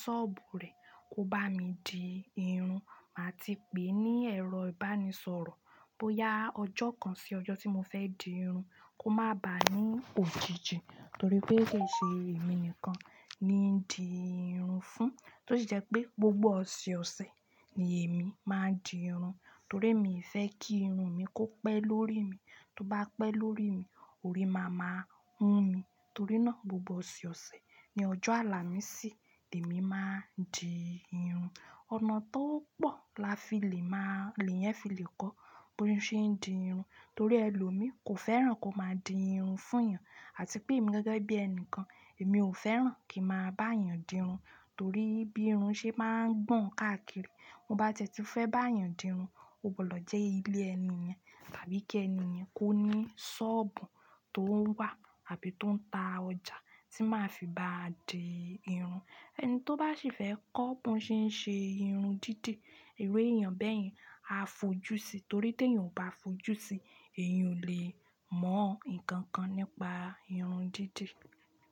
sọ́ọ̀bù rẹ̀ kó bá mi di irun. Màá ti pè ní ẹ̀rọ ìbánisọ̀rọ̀ bóyá ọjọ́ kan sí ọjọ́ tí mo fẹ́ di irun kó má bá a ní òjijì torí pé kì í ṣe èmi nìkan ni ń di irun fún, tó sì jẹ́ pé gbogbo ọ̀sẹ̀ ọ̀sẹ̀ ni èmi máa ń di irun torí emi fẹ́ kí irun mi kó pẹ́ lórí mi. Tó bá pẹ́ lórí mi, orí máa ma hun mi. Torí náà gbogbo ọ̀sẹ̀ ọ̀sẹ̀ ni ọjọ́ àlà mí sì, èmi máa ń di irun. Ọ̀nà tó pọ̀ la fi lè má-- lè yẹn fi lè kọ́ bóri ṣe ń di irun torí ẹlòmíí kò fẹ́ràn kó máa di irun fún yàn, àti pé èmi gẹ́gẹ́ bí ẹni kan, èmi ò fẹ́ràn kí màá bá yàn di irun torí bí irun ṣe máa ń gbọ̀n káàkiri. Mo bá ttí fẹ́ bá yàn di irun, o gbọdọ̀ jẹ́ ilé ẹni yẹn, tàbí kí ẹni yẹn kó ní sọ́ọ̀bù tó ń wà àbí tó ń ta ọjà tí màá fi bá di irun. Ẹni to ba ṣi fẹ kọ bọn ṣe n ṣe irun didi iru eyan bẹyẹn a fo ju si torí te yan o ba fo ju si eyan o le mọ nkankan nípa irun didi.